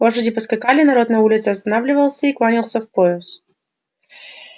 лошади поскакали народ на улице останавливался и кланялся в пояс